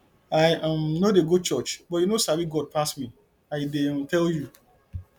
i um no dey go church but you no sabi god pass me i dey um tell you